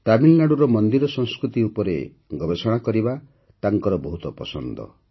ତାମିଲନାଡୁର ମନ୍ଦିର ସଂସ୍କୃତି ସମ୍ପର୍କରେ ଗବେଷଣା କରିବା ତାଙ୍କର ବହୁତ ପସନ୍ଦ